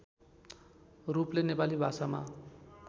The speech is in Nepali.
रूपले नेपाली भाषामा